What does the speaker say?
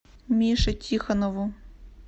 мише тихонову